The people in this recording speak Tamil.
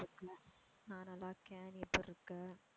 நான் நல்லா இருக்கேன். நீ எப்படி இருக்க?